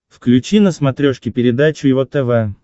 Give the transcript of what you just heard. включи на смотрешке передачу его тв